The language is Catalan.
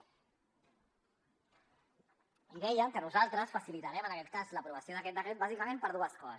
i deia que nosaltres facilitarem en aquest cas l’aprovació d’aquest decret bàsicament per dues coses